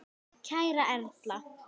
Kæra Erla.